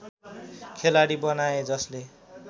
खेलाडी बनाए जसले